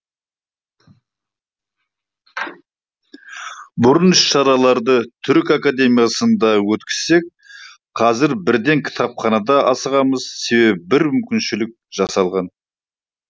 бұрын іс шараларды түрік академиясында өткізсек қазір бірден кітапханада асығамыз себебі бір мүмкіншілік жасалған